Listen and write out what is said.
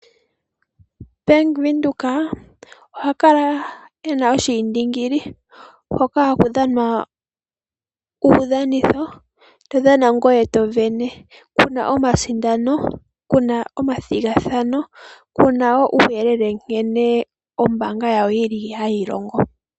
Bank Windhoek oha kala e na oshiindingili hoka haku dhanwa uudhanitho, to dhana ngoye to sindana. Ku na omasindano, ku na omathigathano, ku na wo uuyelele nkene ombaanga yawo yi li hayi longo.